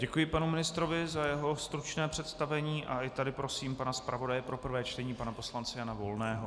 Děkuji panu ministrovi za jeho stručné představení a i tady prosím pana zpravodaje pro prvé čtení pana poslance Jana Volného.